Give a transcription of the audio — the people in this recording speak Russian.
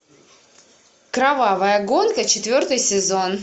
кровавая гонка четвертый сезон